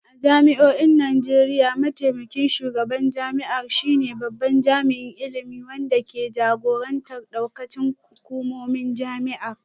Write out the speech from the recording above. A jami'o'in Najeriya, mataimakin shugaban jami'ar shine babban jami'in ilimi wanda ke jagorantar daukacin hukumomin jami'ar